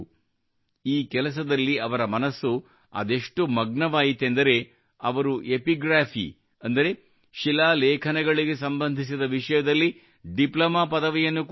ಈ ಕೆಲಸದಲ್ಲಿ ಅವರ ಮನಸ್ಸು ಅದೆಷ್ಟು ಮಗ್ನವಾಯಿತೆಂದರೆ ಅವರು ಎಪಿಗ್ರಾಫಿ एपिग्राफी ಅಂದರೆ ಶಿಲಾಲೇಖನಗಳಿಗೆ ಸಂಬಂಧಿಸಿದ ವಿಷಯದಲ್ಲಿ ಡಿಪ್ಲೊಮಾ ಪದವಿಯನ್ನು ಕೂಡಾ ಪಡೆದರು